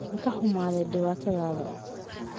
Waan ka xumahay dhibaatada?